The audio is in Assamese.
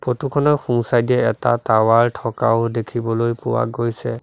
ফটো খনৰ সোঁ চাইদ এ এটা টাৱাৰ থকাও দেখিবলৈ পোৱা গৈছে।